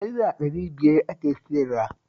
Naira ɗari biyar ake sayarwa